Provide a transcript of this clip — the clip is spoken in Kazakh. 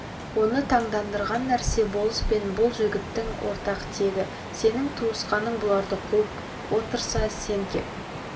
оны таңдандырған нәрсе болыс пен бұл жігіттің ортақ тегі сенің туысқаның бұларды қуып отырса сен кеп